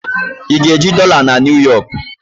Ị ga-eji dọla na New Yọk?